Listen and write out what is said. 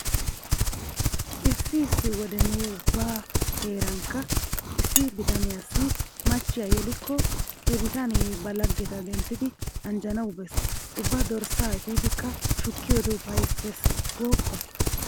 Issi issi wode nu ubba heerankka issi bitaniyassi machchiya yelikko he bitanee ba laggeta denttidi anjjanawu bees. Ubba dorssa efidikka shukkiyode ufayssees gooppa.